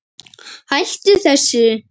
Hættu þessu.